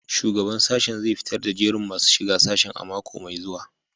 Shugaban sashen zai fitar da jerin masu shiga sashen a mako mai zuwa